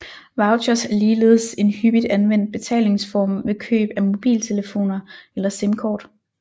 Vouchers er ligeledes en hyppigt anvendt betalingsform ved køb af mobiltelefoner eller simkort